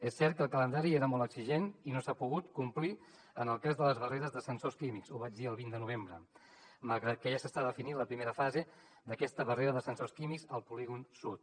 és cert que el calendari era molt exigent i no s’ha pogut complir en el cas de les barreres de sensors químics ho vaig dir el vint de novembre malgrat que ja s’està definint la primera fase d’aquesta barrera de sensors químics al polígon sud